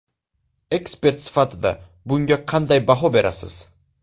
Ekspert sifatida bunga qanday baho berasiz?